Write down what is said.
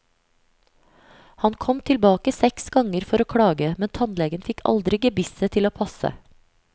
Han kom tilbake seks ganger for å klage, men tannlegen fikk aldri gebisset til å passe.